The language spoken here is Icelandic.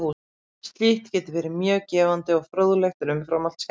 Slíkt getur verið mjög gefandi og fróðlegt en umfram allt skemmtilegt.